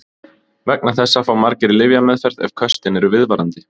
Vegna þessa fá margir lyfjameðferð ef köstin eru viðvarandi.